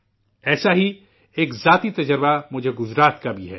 ایسا ہی ایک ذاتی تجربہ مجھے گجرات کا بھی ہے